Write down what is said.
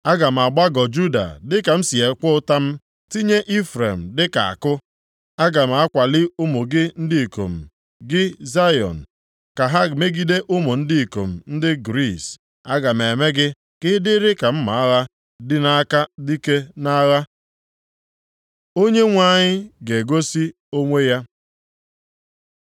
Aga m agbagọ Juda dịka m si ekwe ụta m, tinye Ifrem dịka àkụ. Aga m akwali ụmụ gị ndị ikom, gị Zayọn, ka ha megide ụmụ ndị ikom ndị Griis. Aga m eme gị ka ị dịrị ka mma agha dị nʼaka dike nʼagha. Onyenwe anyị ga-egosi onwe ya